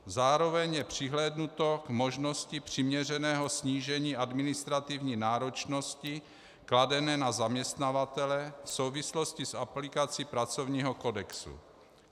Zároveň je přihlédnuto k možnosti přiměřeného snížení administrativní náročnosti kladené na zaměstnavatele v souvislosti s aplikací pracovního kodexu."